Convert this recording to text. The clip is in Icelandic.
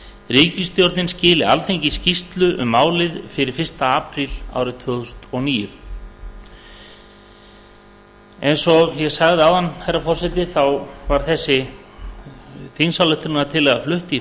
ríkisstjórnin skili alþingi skýrslu um málið fyrir fyrsta apríl tvö þúsund og níu eins og ég sagði áður hæstvirtur forseti var þessi þingsályktunatillagan flutt í